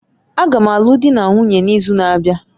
Agam alụọ di na nwunye n'izu na-abịa